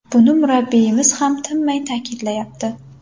Buni murabbiyimiz ham tinmay ta’kidlayapti.